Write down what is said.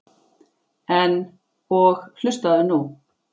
En. og hlustaðu nú